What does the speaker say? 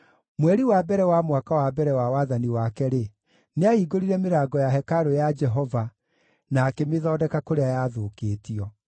Mweri wa mbere wa mwaka wa mbere wa wathani wake-rĩ, nĩahingũrire mĩrango ya hekarũ ya Jehova na akĩmĩthondeka kũrĩa yathũkĩtio.